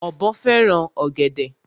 Ọ̀bọ fẹ́ràn ọ̀gẹ̀dè.